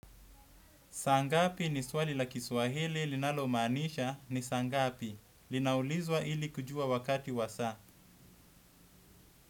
Saa ngapi ni swali la Kiswahili, linalomaanisha, ni sangapi. Linaulizwa ili kujua wakati wa saa.